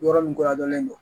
Yɔrɔ nin kɔ dɔni don